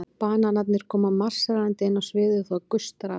Bananarnir koma marserndi inn á sviðið og það gustar af þeim.